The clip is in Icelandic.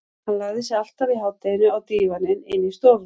Hann lagði sig alltaf í hádeginu á dívaninn inni í stofu.